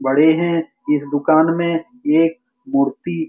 बड़े है इस दूकान में एक मूर्ती --